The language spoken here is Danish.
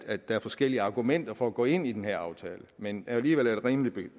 at der er forskellige argumenter fra at gå ind i den her aftale men alligevel er det rimeligt